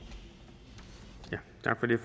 det